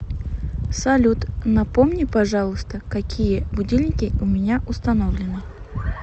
салют напомни пожалуйста какие будильники у меня установлены